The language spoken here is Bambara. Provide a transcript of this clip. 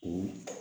O